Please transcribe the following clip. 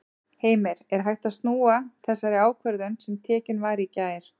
Heimir: Er hægt að snúa þessari ákvörðun sem tekin var í gær?